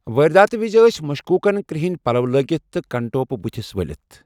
وٲرداتہِ وِزِ ٲسۍ مشكوٗكن کِرٛہِنہِ پَلو لٲگِتھ تہٕ کنٹوپہٕ بُتھس ؤلِتھ ۔